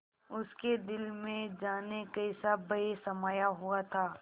उसके दिल में जाने कैसा भय समाया हुआ था